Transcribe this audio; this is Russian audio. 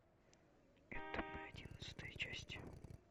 это мы одиннадцатая часть